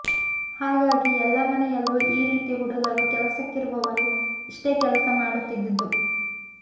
ಹಾಗಾಗಿ ಎಲ್ಲ ಮನೆಯಲ್ಲೂ ಈ ರೀತಿ ಹುಡುಗರು ಕೆಲಸಕ್ಕಿರುವವರು ಇಷ್ಟೇ ಕೆಲಸ ಮಾಡುತ್ತಿದ್ದುದು